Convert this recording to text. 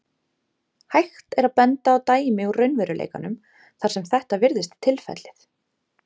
Hægt er að benda á dæmi úr raunveruleikanum þar sem þetta virðist tilfellið.